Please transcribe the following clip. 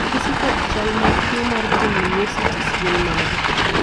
ranyisi kod chal ag tuo mar polymyositis gin mage?